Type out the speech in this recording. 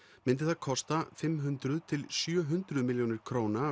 myndi það kosta fimm hundruð til sjö hundruð milljónir króna